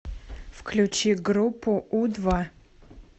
включи группу у два